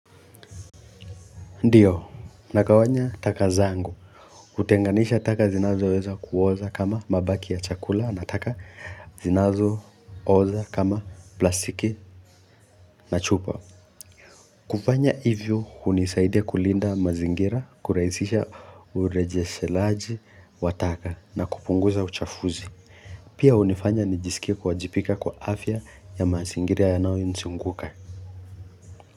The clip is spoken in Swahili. Ndiyo, nagawanya taka zangu, kutenganisha taka zinazoweza kuoza kama mabaki ya chakula na taka zinazo oza kama plastiki na chupa. Kufanya hivyo, hunisaidia kulinda mazingira, kurahisisha urejeshelaji wa taka na kupunguza uchafuzi. Pia hunifanya nijisikie kuwajibika kwa afya ya mazingira yanayonizunguka.